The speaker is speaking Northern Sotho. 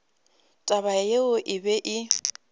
taba yeo e be e